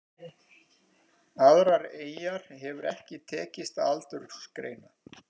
Aðrar eyjar hefur ekki tekist að aldursgreina.